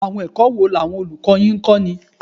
Àwọn ẹ̀kọ́ wo làwọn olùkọ́ yín ń kọ́ni?